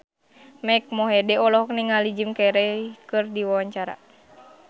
Mike Mohede olohok ningali Jim Carey keur diwawancara